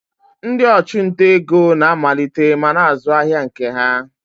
Ndị ọchụnta ego na-amalite ma na-azụ ahịa nke ha.